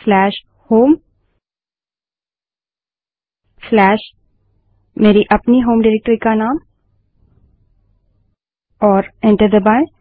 से बड़े अक्षर में कोलनहोमltthe name of my own home directorygt और एंटर दबायें